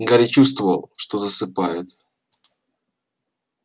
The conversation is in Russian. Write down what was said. гарри чувствовал что засыпает